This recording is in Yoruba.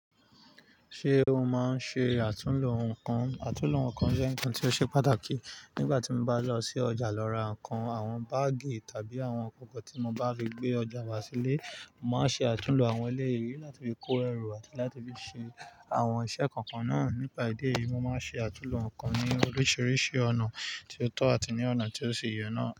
Ṣé o máa ń ṣe àtúnlo nǹkan? Àtúnlo nǹkan jẹ́ nǹkan tí ó ṣe pàtàkì. Nígbà tí mo bá lọ sí ọjà lọ ra nǹkan, àwọn báágì tàbí àwọn kòkò tí mo bá fi gbé ọjà wá sílé, mo màá n ṣe àtúnlo àwọn eléyìí láti fi kó ẹrù àti láti fi ṣe àwọn iṣẹ́ kọ̀ọ̀kan náà. Nípa ìdí èyí mo máa n ṣe atunlo nkan ni oríṣiríṣi ọna ti o tọ àti ni ọna ti o si yẹ naa.